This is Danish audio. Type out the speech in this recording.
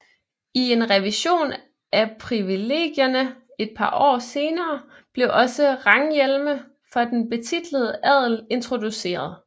I en revision af privilegierne et par år senere blev også ranghjelme for den betitlede adel introduceret